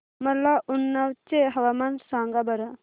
मला उन्नाव चे हवामान सांगा बरं